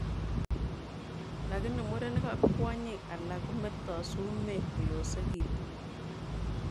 Lakini murenik ak kwonyik alak kometoo sumeek koyosekiitu